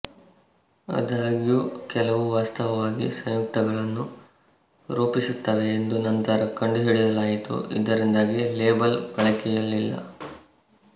ಆದಾಗ್ಯೂ ಕೆಲವು ವಾಸ್ತವವಾಗಿ ಸಂಯುಕ್ತಗಳನ್ನು ರೂಪಿಸುತ್ತವೆ ಎಂದು ನಂತರ ಕಂಡುಹಿಡಿಯಲಾಯಿತು ಇದರಿಂದಾಗಿ ಈ ಲೇಬಲ್ ಬಳಕೆಯಲ್ಲಿಲ್ಲ